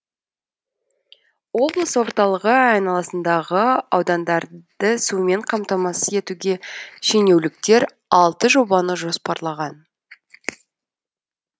облыс орталығы айналасындағы аудандарды сумен қамтамасыз етуге шенеуліктер алты жобаны жоспарлаған